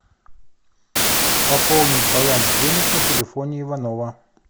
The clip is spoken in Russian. пополнить баланс денег на телефоне иванова